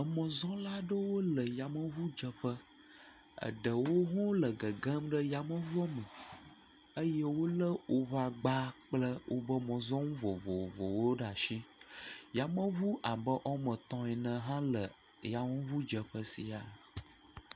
Emɔzɔla aɖewo le yameŋudzeƒe, eɖewo hã le gegem ɖe yameŋuɔ me eye wolé woƒe agba kple woƒe mɔzɔnu vovovowo ɖe ashi. Yameŋu abe woame etɔ̃ ene hã le yameŋudzeƒe siaa.